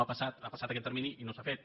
ha passat aquest termini i no s’ha fet